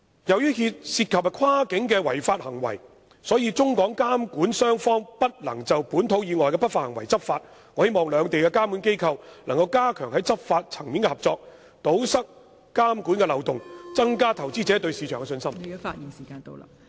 由於涉及跨境違法行為，中港監管雙方不能就本土以外的不法行為執法，我希望兩地監管機構能夠加強在執法層面的合作，堵塞監管漏洞，增加投資者對市場的信心。